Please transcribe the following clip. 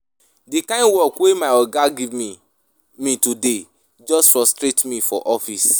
Di kind work wey my oga give me me today just frustrate me for office.